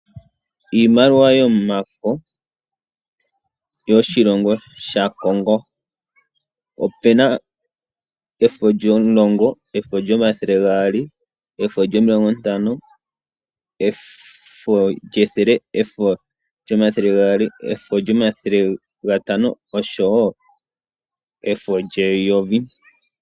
Iimaliwa yomafo yoshilongo sha Kongo. Opena efo lyo mulongo, efo lyomathele gaali, efo lyomilongo ntano, efo lyethele, efo lyomathele gaali, efo lyomathele gatano oshowo efo lye yovi.